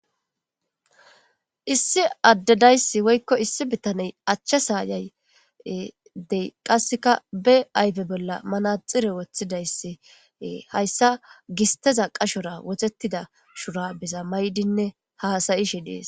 Issi addedayssi woykko issi bittaney achcha saayaydey qasseka be ayfe bolla manaxire woththidayssi hayssa gisteza qashora wotettida shurabeza maydinne haasayi shi dees.